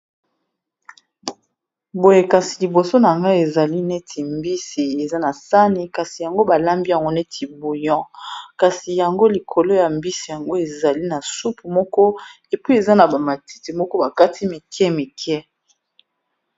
Boye kasi liboso nanga ezali neti mbisi eza na sani kasi balambi yango neti bouyon, kasi likolo ya mbisi yango ezali na supu moko epuis eza na bamatiti moko bakati mike mike.